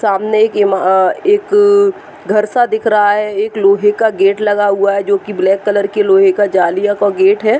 सामने एक इम अ एक घर सा दिख रहा है। एक लोहे का गेट लगा हुआ है जोकि ब्लैक कलर के लोहे के जालिया का गेट है।